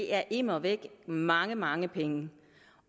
er immer væk mange mange penge